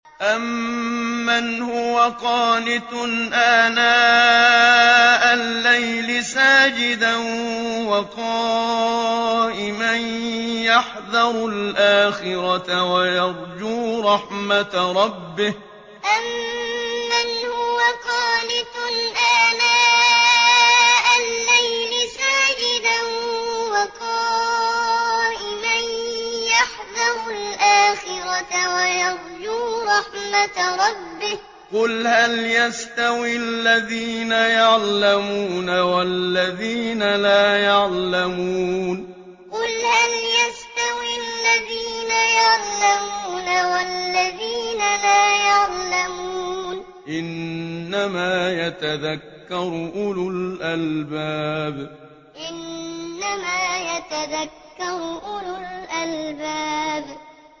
أَمَّنْ هُوَ قَانِتٌ آنَاءَ اللَّيْلِ سَاجِدًا وَقَائِمًا يَحْذَرُ الْآخِرَةَ وَيَرْجُو رَحْمَةَ رَبِّهِ ۗ قُلْ هَلْ يَسْتَوِي الَّذِينَ يَعْلَمُونَ وَالَّذِينَ لَا يَعْلَمُونَ ۗ إِنَّمَا يَتَذَكَّرُ أُولُو الْأَلْبَابِ أَمَّنْ هُوَ قَانِتٌ آنَاءَ اللَّيْلِ سَاجِدًا وَقَائِمًا يَحْذَرُ الْآخِرَةَ وَيَرْجُو رَحْمَةَ رَبِّهِ ۗ قُلْ هَلْ يَسْتَوِي الَّذِينَ يَعْلَمُونَ وَالَّذِينَ لَا يَعْلَمُونَ ۗ إِنَّمَا يَتَذَكَّرُ أُولُو الْأَلْبَابِ